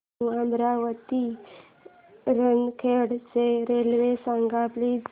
new Amravati ते नरखेड ची railway सांग प्लीज